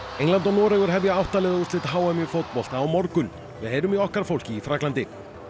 England og Noregur hefja átta liða úrslit h m í fótbolta á morgun við heyrum í okkar fólki í Frakklandi